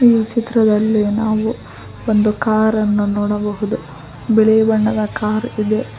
ಈ ಚಿತ್ರದಲ್ಲಿ ನಾವು ಒಂದು ಕಾರನ್ನು ನೋಡಬಹುದು ಬಿಳಿ ಬಣ್ಣದ ಕಾರಿದೆ .